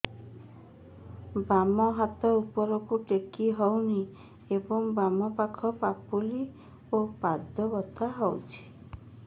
ବାମ ହାତ ଉପରକୁ ଟେକି ହଉନି ଏବଂ ବାମ ପାଖ ପାପୁଲି ଓ ପାଦ ବଥା ହଉଚି